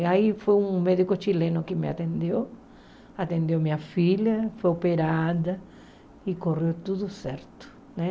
E aí foi um médico chileno que me atendeu, atendeu minha filha, foi operada e correu tudo certo, né?